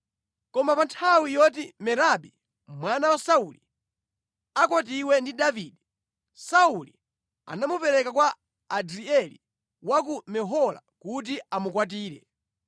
Koma pa nthawi yoti Merabi mwana wa Sauli akwatiwe ndi Davide, Sauli anamupereka kwa Adrieli wa ku Mehola kuti amukwatire.